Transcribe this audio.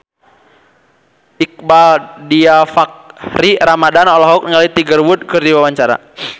Iqbaal Dhiafakhri Ramadhan olohok ningali Tiger Wood keur diwawancara